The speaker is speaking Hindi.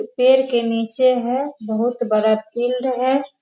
पेड़ के निचे है बहुत बड़ा फील्ड है।